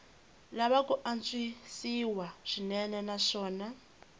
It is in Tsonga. lava ku antswisiwa swinene naswona